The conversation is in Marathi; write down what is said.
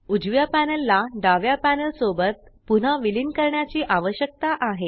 उजव्या पॅनल ला डाव्या पॅनल सोबत पुन्हा विलीन करण्याची आवश्यकता आहे